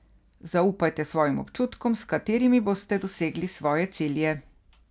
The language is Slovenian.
Zaupajte svojim občutkom, s katerimi boste dosegli svoje cilje.